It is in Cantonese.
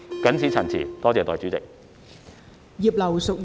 謹此陳辭，多謝代理主席。